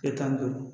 Tile tan ni duuru